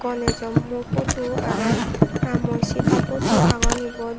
ganesh o mo photo aro rammoi sita photo agon ibot.